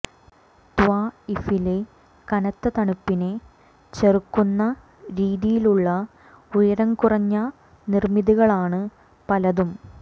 ത്വാഇഫിലെ കനത്ത തണുപ്പിനെ ചെറുക്കുന്ന രീതിയിലുള്ള ഉയരം കുറഞ്ഞ നിര്മിതികളാണ് പലതും